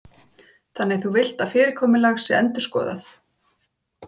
Lillý Valgerður Pétursdóttir: Þannig þú villt að fyrirkomulag sé endurskoðað?